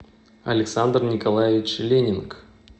александр николаевич ленинг